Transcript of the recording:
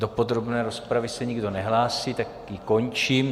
Do podrobné rozpravy se nikdo nehlásí, tak ji končím.